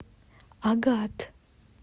агат